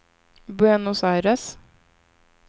Buenos Aires